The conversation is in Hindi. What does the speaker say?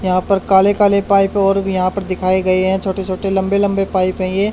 यहां पर काले काले पाइप और भी यहां पर दिखाए गए हैं छोटे छोटे लंबे लंबे पाइप है ये।